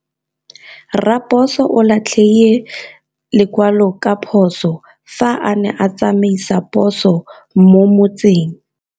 Raposo o latlhie lekwalô ka phosô fa a ne a tsamaisa poso mo motseng.